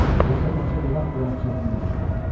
Özü də təkcə dodaq boyası çəkdiyim üçün.